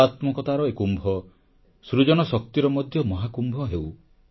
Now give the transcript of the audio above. କଳାତ୍ମକତାର ଏ କୁମ୍ଭ ସୃଜନଶକ୍ତିର ମଧ୍ୟ ମହାକୁମ୍ଭ ହେଉ